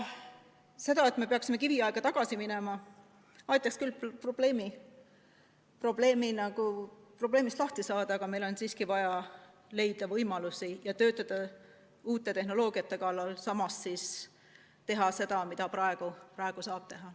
See, kui me läheksime kiviaega tagasi, aitaks küll probleemist lahti saada, aga meil on siiski vaja leida võimalusi ja töötada uute tehnoloogiate kallal, tehes seda, mida praegu saab teha.